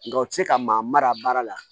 Nka u ti se ka maa mara baara la